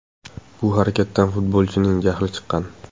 Bu harakatdan futbolchining jahli chiqqan.